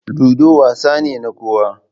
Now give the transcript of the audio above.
Ludo wasa ne na kowa.